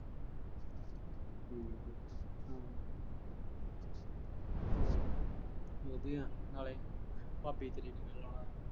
ਹੂੰ ਹੋਰ। ਵਧੀਆ ਨਾਲੇ ਭਾਬੀ ਤੇਰੀ ਨੂੰ ਵੀ ਬੁਲਾ ਲਾਂ ਗੇ।